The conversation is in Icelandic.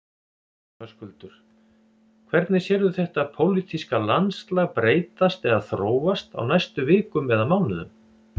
Höskuldur: Hvernig sérðu þetta pólitíska landslag breytast eða þróast á næstu vikum eða mánuðum?